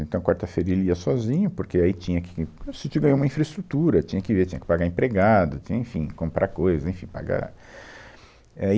Então, quarta-feira ele ia sozinho, porque aí tinha que, se tiver uma infraestrutura, tinha que ver, tinha que pagar empregado, tinha, enfim, comprar coisa, enfim, pagar. É